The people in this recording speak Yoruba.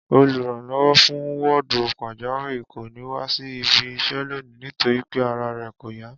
Olùránló̩wó̩ fún wó̩ò̩dù pàjáwìrì kò ní wá sí ibi is̩é̩ lónìí nítorí pé ara rè̩ kò yá